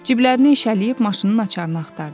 Ciblərini eşələyib maşının açarını axtardı.